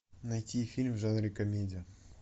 найти фильм в жанре комедия